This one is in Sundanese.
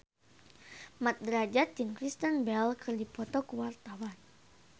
Mat Drajat jeung Kristen Bell keur dipoto ku wartawan